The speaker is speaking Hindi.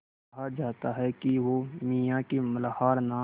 कहा जाता है कि वो मियाँ की मल्हार नाम